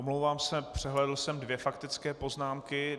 Omlouvám se, přehlédl jsem dvě faktické poznámky.